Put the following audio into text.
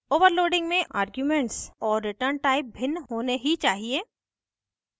overloading में arguments और returntype भिन्न होने ही चाहिए